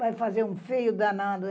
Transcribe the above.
Vai fazer um feio danado.